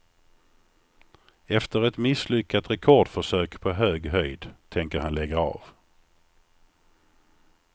Efter ett misslyckat rekordförsök på hög höjd tänker han lägga av.